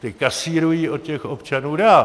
Ta kasírují od těch občanů dál.